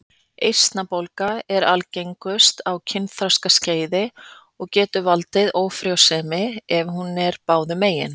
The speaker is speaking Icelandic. Eistnabólga er algengust á kynþroskaskeiði og getur valdið ófrjósemi ef hún er báðum megin.